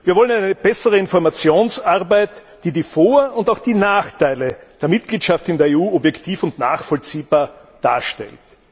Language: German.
Wir wollen eine bessere Informationsarbeit, die die Vor und auch die Nachteile der Mitgliedschaft in der EU objektiv und nachvollziehbar darstellt.